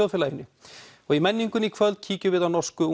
í menningunni í kvöld kíkjum við á norsku